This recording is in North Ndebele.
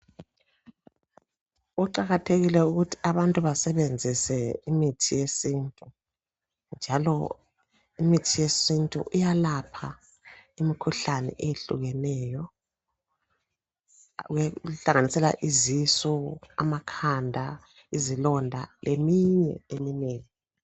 Kuqakathekile ukuthi abantu basebenzise imithi yesintu njalo imithi yesintu iyalapha imikhuhlane eyehlukeneyo, kuhlanganisela izisu, amakhanda, izilonda leminye eminengi.